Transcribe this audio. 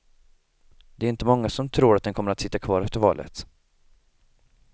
Det är inte många som tror att den kommer att sitta kvar efter valet.